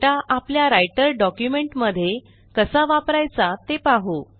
हा डेटा आपल्या writer document मध्ये कसा वापरायचा ते पाहू